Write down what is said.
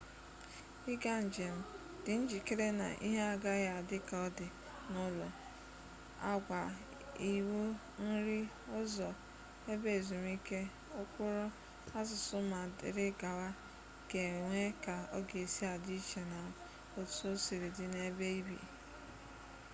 ị gaa njem dị njikere na ihe agaghị adị ka ọ dị n'ụlọ agwa iwu nri ụzọ ebe ezumike ụkpụrụ asụsụ ma dịrị gawa ga enwe ka ọ ga-esị adị iche na otu osiri dị n'ebe ibi